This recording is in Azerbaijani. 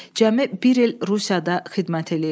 Cəmi bir il Rusiyada xidmət eləyib.